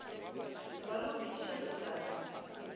se rwale go fetiša tekanyo